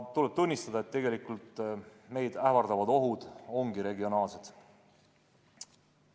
Tuleb tunnistada, et tegelikult meid ähvardavad ohud ongi regionaalsed.